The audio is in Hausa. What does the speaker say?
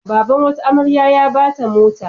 Baban wata amarya a ba ta mota.